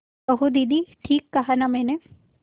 कहो दीदी ठीक कहा न मैंने